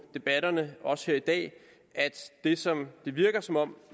debatterne også her i dag at det som det virker som om